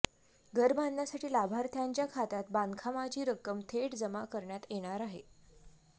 घर बांधण्यासाठी लाभार्थ्यांच्या खात्यात बांधकामाची रक्कम थेट जमा करण्यात येणार आहे